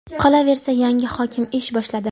Qolaversa, yangi hokim ish boshladi.